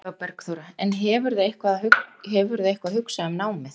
Eva Bergþóra: En hefurðu eitthvað hugsað um námið?